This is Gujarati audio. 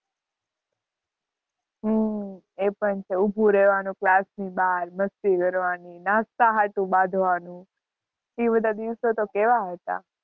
હમ એ પણ છે. ઊભું રેવાનું ક્લાસની બહાર, મસ્તી કરવાની, નાસ્તા સાટું બાઝવાનું એ બધાં દિવસો તો કેવા હતાં.